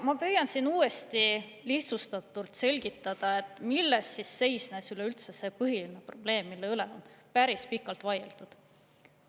Ma püüan siin uuesti lihtsustatult selgitada, milles siis seisnes üleüldse see põhiline probleem, mille üle on päris pikalt vaieldud.